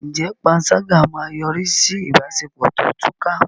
Ǹjẹ́ panṣágà máa yọrí sí ìbáṣepọ̀ tó túká?